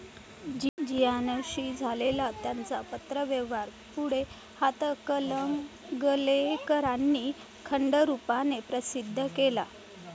जियान ' शी झालेला त्यांचा पत्रव्यवहार पुढे हातकणंगलेकरांनी खंडरूपाने प्रसिद्ध केला.